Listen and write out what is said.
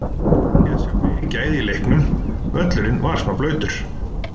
Ég hefði viljað sjá meiri gæði í leiknum, völlurinn var smá blautur.